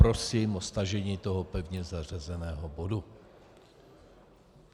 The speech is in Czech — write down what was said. Prosím o stažení tohoto pevně zařazeného bodu.